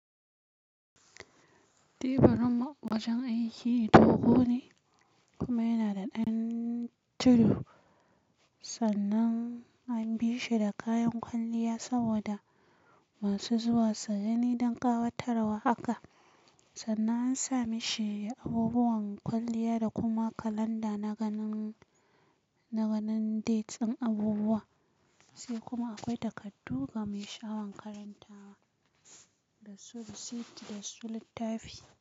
Teburin wajen aiki dogo ne kuma yana da ɗan tudu, sannan an bi shi da kayan kwalliya saboda masu zuwa su gani don ƙawatarwa haka, sannan an sa mishi abubuwan kwalliya da kuma kalanda na ganin, na ganin dates ɗin abubuwa, sai kuma akwai takardu ga mai sha'awan karantawa da su risit da su littafi.